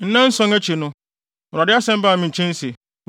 Nnanson akyi no, Awurade asɛm baa me nkyɛn se,